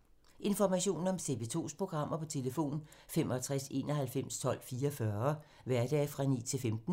Information om TV 2's programmer: 65 91 12 44, hverdage 9-15.